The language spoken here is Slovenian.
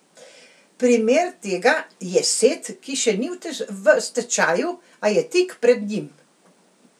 Primer tega je Set, ki še ni v stečaju, a je tik pred njim.